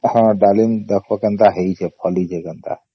ହଁ ଡ଼ାଲିମ ଦେଖିବା କେମିତ ହେଇଚି ଫଳିଛି କେନ୍ତା